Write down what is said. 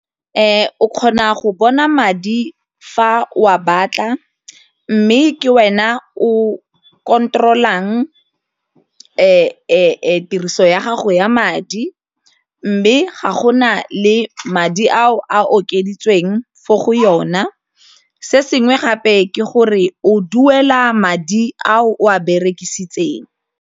O kgona go bona madi fa o a batla mme ke wena o control-ang tiriso ya gago ya madi mme ga go na le madi a o a okeditsweng fo go yona se sengwe gape ke gore o duela madi a o a berekisitseng..